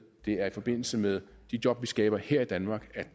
det er i forbindelse med de job vi skaber her i danmark